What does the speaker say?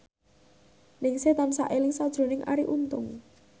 Ningsih tansah eling sakjroning Arie Untung